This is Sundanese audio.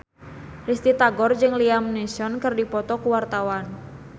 Risty Tagor jeung Liam Neeson keur dipoto ku wartawan